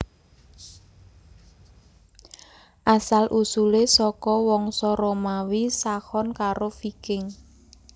Asal usulé saka wangsa Romawi Saxon karo Viking